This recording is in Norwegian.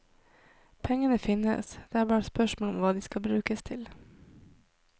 Pengene finnes, det er bare spørsmål om hva de brukes til.